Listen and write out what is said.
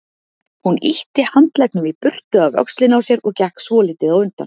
Hún ýtti handleggnum í burtu af öxlinni á sér og gekk svolítið á undan.